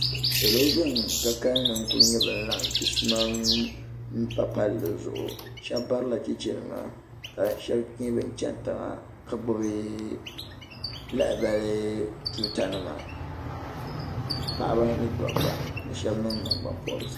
Salo ban ka kalli n laɣim chisimam m pa palli sheba barila cheche nima ka sheba nyɛ ban cheni tiŋa ka gbibi lahabali tuuta nima paɣaba ni dabba ka sheba niŋ nangban pobrisi.